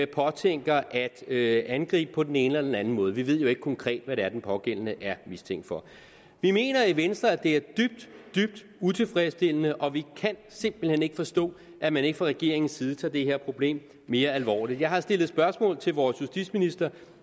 påtænker at angribe på den ene eller den anden måde vi ved jo ikke konkret hvad det er at den pågældende er mistænkt for vi mener i venstre at det er dybt dybt utilfredsstillende og vi kan simpelt hen ikke forstå at man ikke fra regeringens side tager det her problem mere alvorligt jeg har stillet spørgsmål til vores justitsminister